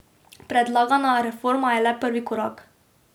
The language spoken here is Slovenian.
Predlagana reforma je le prvi korak.